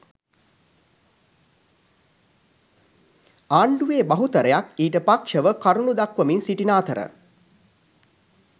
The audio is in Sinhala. ආණ්ඩුවේ බහුතරයක් ඊට පක්‍ෂව කරුණු දක්වමින් සිටින අතර